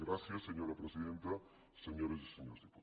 gràcies senyora presidenta senyores i senyors diputats